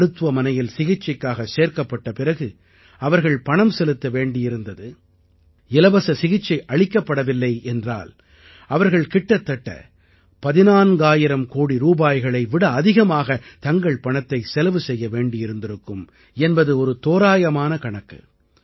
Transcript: மருத்துவமனையில் சிகிச்சைக்காக சேர்க்கப்பட்ட பிறகு அவர்கள் பணம் செலுத்த வேண்டியிருந்தது இலவச சிகிச்சை அளிக்கப்படவில்லை என்றால் அவர்கள் கிட்டத்தட்ட 14000 கோடி ரூபாய்களை விட அதிகமாக தங்கள் பணத்தை செலவு செய்ய வேண்டியிருந்திருக்கும் என்பது ஒரு தோராயமான கணக்கு